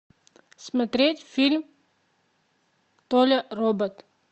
смотреть фильм толя робот